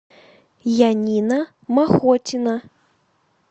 янина махотина